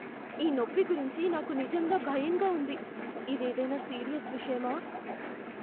ఈ నొప్పి గురించి నాకు నిజంగా భయంగా ఉంది. ఇదేదైనా సీరియస్ విషయమా?